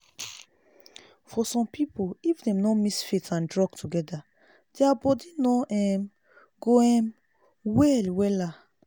for some people if dem no mix faith and drug together their body no um go um well wella